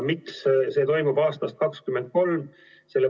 Miks see toimub aastast 2023?